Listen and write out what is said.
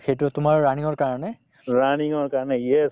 সেইটোয়ে তোমাৰ running ৰ কাৰণে ‍‍